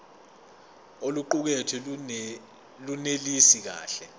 oluqukethwe lunelisi kahle